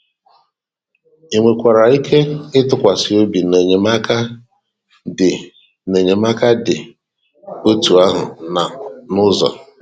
I nwekwara ike ịtụkwasị óbì na enyemaka dị enyemaka dị otú ahụ nọ n'ụzọ